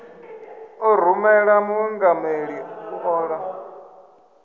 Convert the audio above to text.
ḓo rumela muingameli u ṱola